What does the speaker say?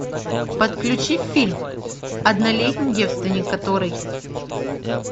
подключи фильм однолетний девственник который